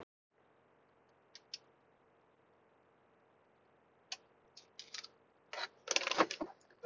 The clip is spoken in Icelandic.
Flatur niðurskurður, hugsaði hann, en gat ekki einu sinni brosað að því.